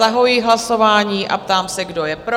Zahajuji hlasování a ptám se, kdo je pro?